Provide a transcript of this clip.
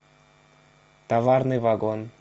товарный вагон